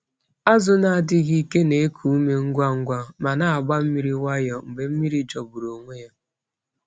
Azụ na-adịghị ike na-eku ume ngwa ngwa ma na-agba mmiri nwayọọ mgbe mmiri jọgburu onwe ya.